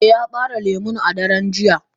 Eh Ya bare lemu a daren jiya.